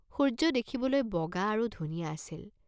সূৰ্য্য দেখিবলৈ বগা আৰু ধুনীয়া আছিল।